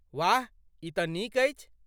वाह, ई तँ नीक अछि।